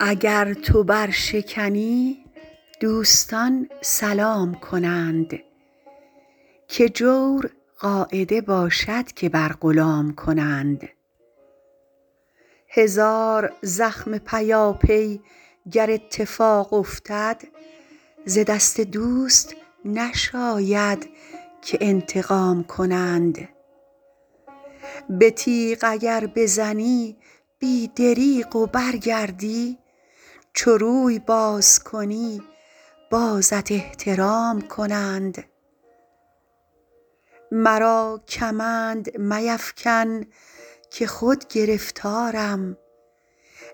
اگر تو برشکنی دوستان سلام کنند که جور قاعده باشد که بر غلام کنند هزار زخم پیاپی گر اتفاق افتد ز دست دوست نشاید که انتقام کنند به تیغ اگر بزنی بی دریغ و برگردی چو روی باز کنی بازت احترام کنند مرا کمند میفکن که خود گرفتارم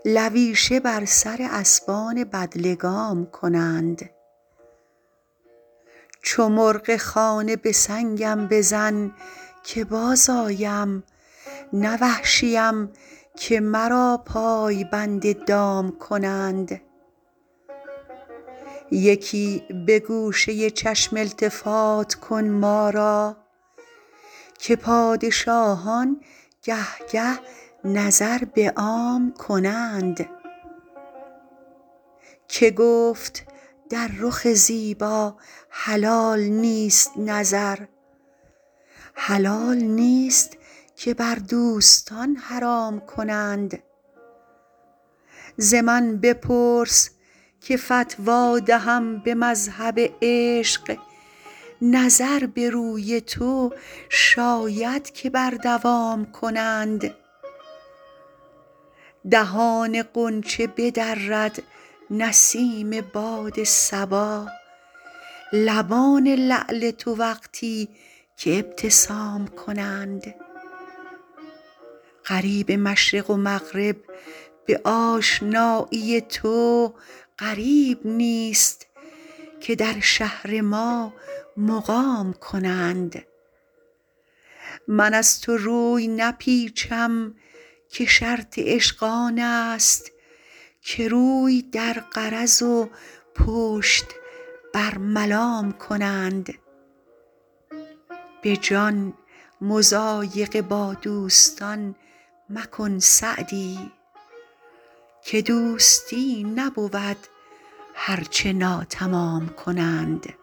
لویشه بر سر اسبان بدلگام کنند چو مرغ خانه به سنگم بزن که بازآیم نه وحشیم که مرا پای بند دام کنند یکی به گوشه چشم التفات کن ما را که پادشاهان گه گه نظر به عام کنند که گفت در رخ زیبا حلال نیست نظر حلال نیست که بر دوستان حرام کنند ز من بپرس که فتوی دهم به مذهب عشق نظر به روی تو شاید که بر دوام کنند دهان غنچه بدرد نسیم باد صبا لبان لعل تو وقتی که ابتسام کنند غریب مشرق و مغرب به آشنایی تو غریب نیست که در شهر ما مقام کنند من از تو روی نپیچم که شرط عشق آن است که روی در غرض و پشت بر ملام کنند به جان مضایقه با دوستان مکن سعدی که دوستی نبود هر چه ناتمام کنند